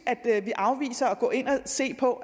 vi afviser at gå ind og se på